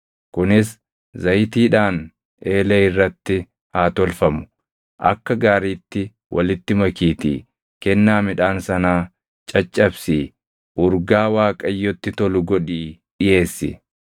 Kunis zayitiidhaan eelee irratti haa tolfamu; akka gaariitti walitti makiitii kennaa midhaan sanaa caccabsii urgaa Waaqayyotti tolu godhii dhiʼeessi.